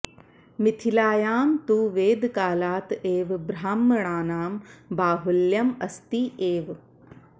मिथिलायां तु वेदकालात् एव ब्राह्मणानां बाहुल्यम् अस्ति एव